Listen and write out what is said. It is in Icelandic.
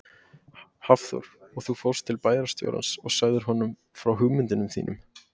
Hafþór: Og þú fórst til bæjarstjórans og sagðir honum frá hugmyndunum þínum?